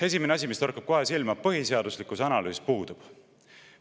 Esimene asi, mis kohe silma torkab: põhiseaduslikkuse analüüs puudub.